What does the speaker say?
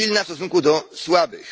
Jest silna w stosunku do słabych.